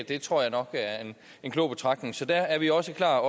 det tror jeg nok er en klog betragtning så der er vi også klar